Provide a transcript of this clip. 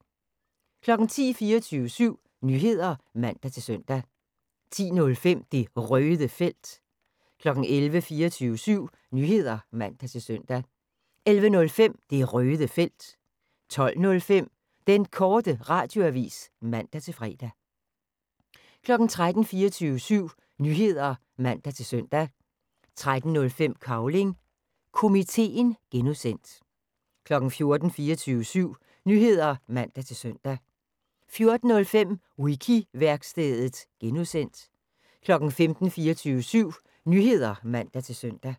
10:00: 24syv Nyheder (man-søn) 10:05: Det Røde Felt 11:00: 24syv Nyheder (man-søn) 11:05: Det Røde Felt 12:05: Den Korte Radioavis (man-fre) 13:00: 24syv Nyheder (man-søn) 13:05: Cavling Komiteen (G) 14:00: 24syv Nyheder (man-søn) 14:05: Wiki-værkstedet (G) 15:00: 24syv Nyheder (man-søn)